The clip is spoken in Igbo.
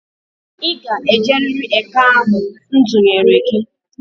I ga-ejerịrị eke ahụ m dunyere gị!